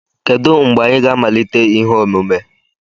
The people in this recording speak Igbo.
Kedu mgbe anyị ga-amalite ihe omume?